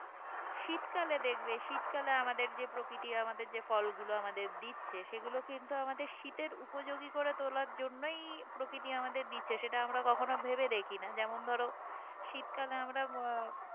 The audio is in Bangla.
শীতকালে দেখবে শীতকালে আমাদের যে প্রকৃতি আমাদের যে ফলগুলো আমাদের দিচ্ছে সেগুলো কিন্তু আমাদের শীতের উপযোগী করে তোলার জন্যই প্রকৃতি আমাদের দিচ্ছে সেটা আমরা কখনো ভেবে দেখিনা যেমন ধরো শীতকালে আমরা